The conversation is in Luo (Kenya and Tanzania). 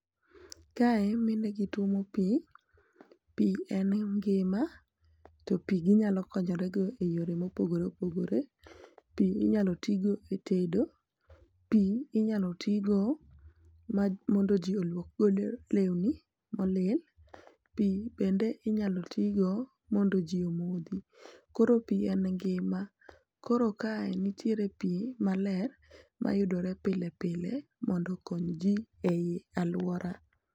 kae mine gi tuomo pi ,pi en ngima to pi ginyalo konyore go e yore mopogore opogore ,pi inyalo ti go e tedo, pi inyalo ti go mondo ji oluok godo lewni molil ,pi bende inyalo ti go mondo ji omodhi, koro kae nitie pi maler midwaro pile pile mondo okony ji ei aluora.